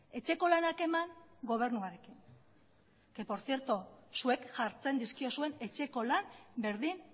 etxeko lanak eman gobernuarekin que por cierto zuek jartzen dizkiozuen etxeko lan berdin